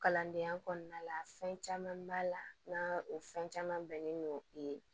Kalandenya kɔnɔna la fɛn caman b'a la n'a o fɛn caman bɛnnen don i